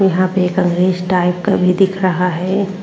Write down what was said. यहाँ पे एक अंग्रेज टाइप का भी दिख रहा है।